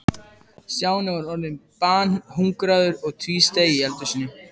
Stjáni var orðinn banhungraður og tvísteig í eldhúsinu.